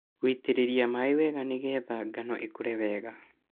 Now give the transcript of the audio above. Gũitĩrĩria maĩ wega nĩgetha ngano ĩkũre wega.